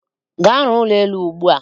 Gaa rụọ ụlọ elu ugbua!